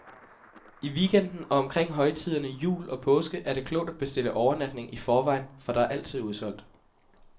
I weekenden og omkring højtiderne, jul og påske, er det klogt at bestille overnatning i forvejen, for der er altid udsolgt.